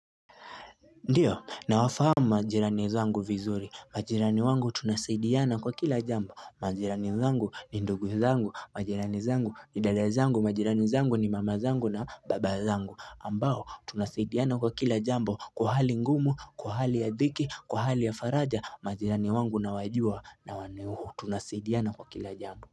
Ndiyo, na wafahama majirani zangu vizuri. Majirani wangu tunasaidiana kwa kila jambo. Majirani zangu ni ndugu zangu. Majirani zangu ni dada zangu. Majirani zangu ni mama zangu na baba zangu. Ambao, tunasaidiana kwa kila jambo. Kwa hali ngumu, kwa hali ya dhiki, kwa hali ya faraja. Majirani wangu nawajuwa na waneuhu. Tunasaidiana kwa kila jambu.